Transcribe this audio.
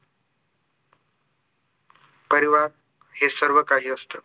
परिवार हे सर्व काही असतं